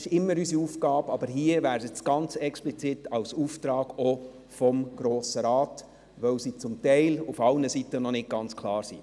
Das ist immer unsere Aufgabe, aber hier wäre es ganz explizit auch ein Auftrag des Grossen Rates, da die Zahlen zum Teil auf allen Seiten noch nicht ganz klar sind.